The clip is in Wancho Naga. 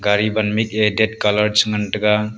athe wan mik ke red colour che ngan tega.